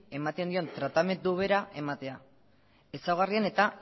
ematen dion tratamendu bera ematea ezaugarrien eta